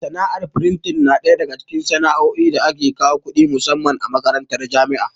Sana'ar frintin na ɗaya daga cikin sana'o'i da ke kawo kuɗi musamman a makarantun jami'a.